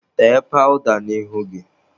Tee pawụda n'ihu gị!.